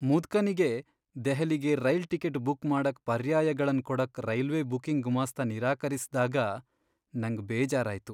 ಮುದ್ಕನಿಗೆ ದೆಹಲಿಗೆ rail ticket book ಮಾಡಕ್ ಪರ್ಯಾಯಗಳನ್ ಕೊಡಕ್ ರೈಲ್ವೆ ಬುಕಿಂಗ್ ಗುಮಾಸ್ತ ನಿರಾಕರಿಸ್ದಾಗ ನಂಗ್ ಬೇಜಾರಾಯ್ತು.